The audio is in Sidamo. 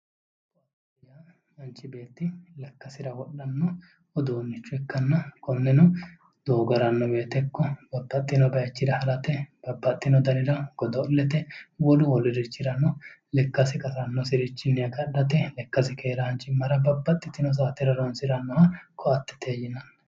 koatte yaa manchi beetti lekkasira wodhanno uduunnicho ikkanna konneno doogo haranno woyite babbaxxino bayichira harate hattono wolu wolurichirano lekkasi qasannosirichinni agadhate lekkasi keeraanchimmara babbaxxitini saatera horonsirannoha koattete yinanni